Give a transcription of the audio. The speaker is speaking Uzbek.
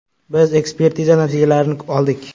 “Biz ekspertiza natijalarini oldik.